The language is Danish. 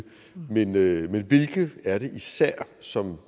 men hvilke er det især som